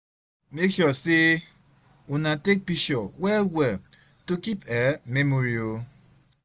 mek sure say una take pishurs wel wel to kip um memory o